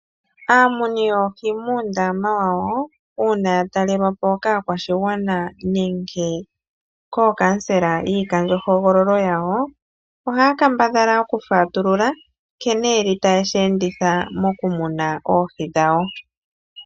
Aamuni yoohi muundama wawo uuna ya talelwapo kaakwashigwana nenge kookamusela yiikandjo hogololo yawo, oha ya kambadhala oku fatulula nkene yeli ta ye shi enditha mo kumuna oohi dhawo.